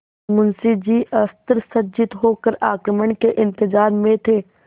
मुंशी जी अस्त्रसज्जित होकर आक्रमण के इंतजार में थे